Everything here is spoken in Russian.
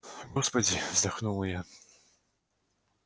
господи вдохнула я